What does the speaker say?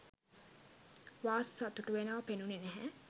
වාස් සතුටු වෙනව පෙනුනේ නැහැ.